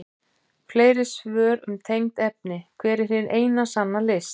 Fleiri svör um tengd efni: Hver er hin eina sanna list?